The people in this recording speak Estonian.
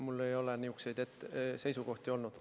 Mul ei ole niisuguseid seisukohti olnud.